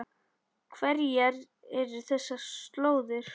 Hverjar eru þessar slóðir?